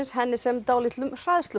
henni sem dálitlum